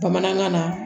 Bamanankan na